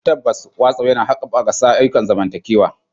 Tabbas, WhatsApp yana haɓaka ayyukan zamantakewa.